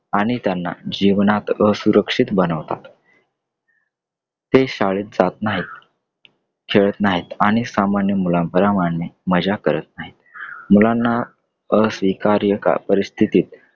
आणि त्यांना जीवनात असुरक्षित बनवतात . ते शाळेत जात नाहीत , खेळत नाहीत आणि सामान्यमुलाप्रमाणे मज्जा करत नाहीत . मुलांना अस्वीकार्य परिस्थितीत